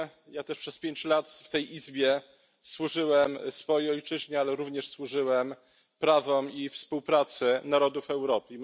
Ja też przez pięć lat w tej Izbie służyłem swojej ojczyźnie, ale również służyłem prawom i współpracy narodów Europy.